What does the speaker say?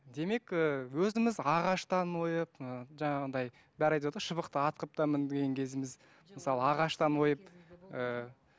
демек ііі өзіміз ағаштан ойып ы жаңағындай бәрі айтаватады ғой шыбықты ат қылып та мінген кезіміз мысалы ағаштан ойып ыыы